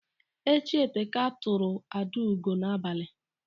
Echi eteka tụrụ Adaugo n'abalị.